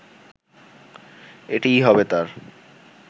এটিই হবে তার